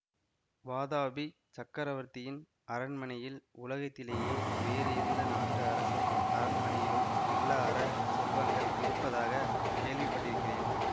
வாதாபிச் சக்கரவர்த்தியின் அரண்மனையில் உலகத்திலே வேறு எந்த நாட்டு அரசர் அரண்மனையிலும் இல்லார செல்வங்கள் இருப்பதாக கேள்விப்பட்டிருக்கிறேன்